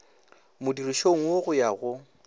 modirišong wo go ya go